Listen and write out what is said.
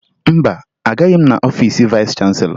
Mba, agaghị m aga n'ọfiisi vayịs chanselọ